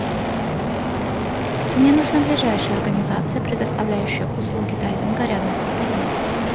мне нужна ближайшая организация предоставляющая услуги дайвинга рядом с отелем